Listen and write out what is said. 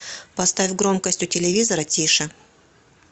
поставь громкость у телевизора тише